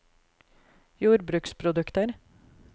jordbruksprodukter